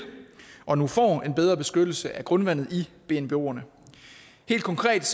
og nu får en bedre beskyttelse af grundvandet ved bnboerne helt konkret